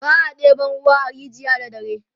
ba a ɗeban ruwa a rijiya da dare